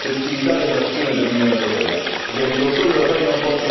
Quello che chiedo però è la tempestività dell'azione dell'Unione europea.